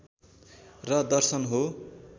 र दर्शन हो